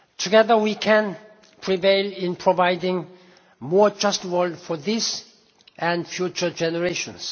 power. Together, we can prevail in providing a more just world for this and future generations.